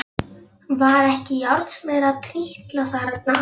Var ekki járnsmiður að trítla þarna?